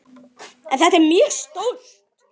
En þetta er mjög stórt.